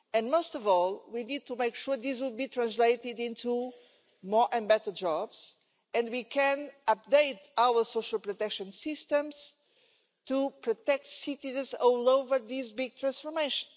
Most of all, we need to make sure these will be translated into more and better jobs, and that we can update our social protection systems to protect citizens throughout this big transformation.